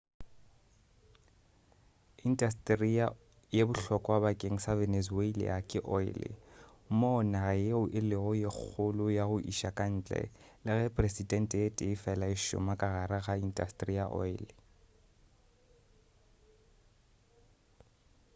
intasetere ye bohlokwa bakeng sa venezuelan ke oile moo naga yeo e lego ye kgolo ya go iša ka ntle le ge peresente ye tee fela e šoma ka gare ga intasetere ya oile